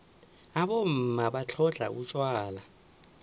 abomma batlhodlha utjwala